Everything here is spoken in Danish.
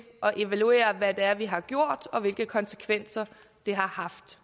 evaluere hvad det er vi har gjort og hvilke konsekvenser det har haft